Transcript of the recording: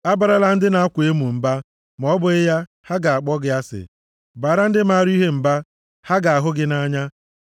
Abarala ndị na-akwa emo mba, ma ọ bụghị ya, ha ga-akpọ gị asị; baara ndị maara ihe mba, ha ga-ahụ gị nʼanya.